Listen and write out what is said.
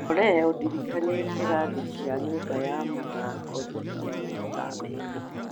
Olly ũndirikanie kĩrathi kĩa nyũmba ya mathaako thutha wa mathaa merĩ